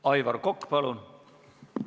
Aivar Kokk, palun!